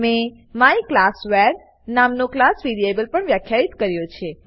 મેં માયક્લાસવાર નામનો ક્લાસ વેરીએબલ પણ વ્યાખ્યિત કર્યો છે